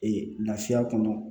Ee laafiya kɔnɔ